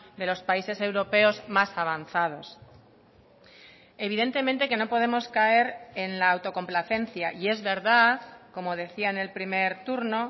de los países europeos más avanzados evidentemente que no podemos caer en la autocomplacencia y es verdad como decía en el primer turno